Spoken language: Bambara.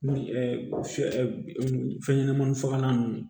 Ni fɛn ɲɛnɛmani fagalan ninnu